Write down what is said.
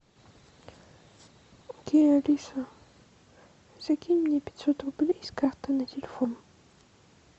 окей алиса закинь мне пятьсот рублей с карты на телефон